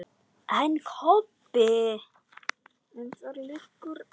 En ekki Kobbi.